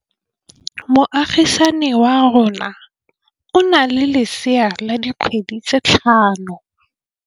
Moagisane wa rona o na le lesea la dikgwedi tse tlhano.